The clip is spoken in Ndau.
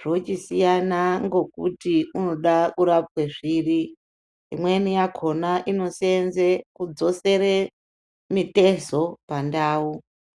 zvochisiyana ngokuti unoda kurapwe zviri, imweni yakona inoseenze kudzosere mitezo pandau.